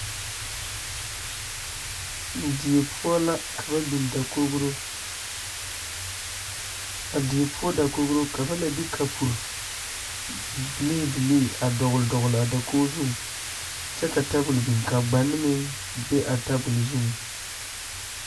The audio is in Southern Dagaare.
Die poɔ la ka ba biŋ dakogro a die poɔ dakogro ka ba la de kapuri biliibilii dɔglidɔgli a dakogi zuŋ kyɛ ka tabul biŋ ka bɔni meŋ be a tabul zuiŋ.